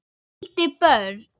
Skildi börn.